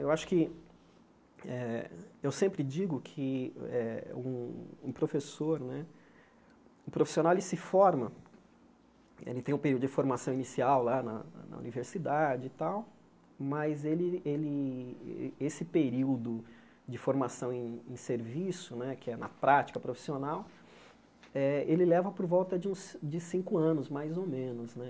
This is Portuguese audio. Eu acho que, eh eu sempre digo que eh um um professor né, um profissional, ele se forma, ele tem um período de formação inicial lá na na universidade e tal, mas ele ele, esse período de formação em serviço né, que é na prática profissional eh, ele leva por volta de uns de cinco anos, mais ou menos né.